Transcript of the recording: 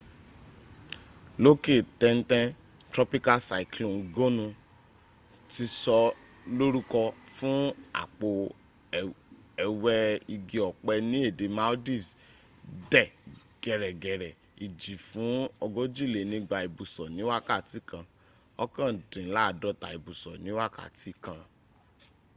lókè tẹ́ntẹ́n, tropical cyclone gonu ti sọ lórúkọ fún àpò ẹwẹ́ igi ọ̀pẹ ni èdè maldives dẹ gẹ̀rẹ́gẹ̀rẹ́ ìjì fún ogójìlénígba ìbùsọ̀ ní wákàtí kan òkàndínládọ́ta ìbùsọ̀ ni wákàtí kan